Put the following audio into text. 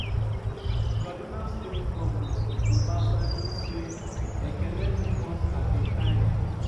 kaduna state govnor uba sani say “ekene leave us at a time